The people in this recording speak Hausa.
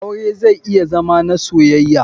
Aure zai iya Zama na soyaya.